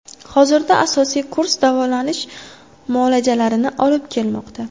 Hozirda asosiy kurs davolanish muolajalarini olib kelmoqda.